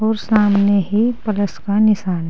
और सामने ही प्लस का निशान है।